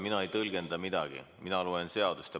Mina ei tõlgenda midagi, mina loen seadust.